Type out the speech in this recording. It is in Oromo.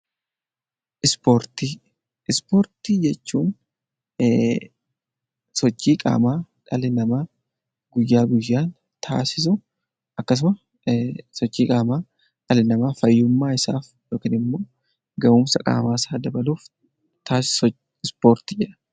Ispoortii Ispoortii jechuun sochii qaamaa dhalli namaa guyyaa guyyaa taasisu akkasuma sochii qaamaa dhalli namaa fayyummaa isaaf yookiin immoo gahumsa qaamaa isaa dabaluuf taasisu ispoortii jedhama.